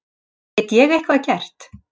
Get ég eitthvað gert?